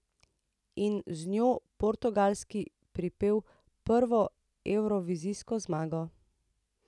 In z njo Portugalski pripel prvo evrovizijsko zmago.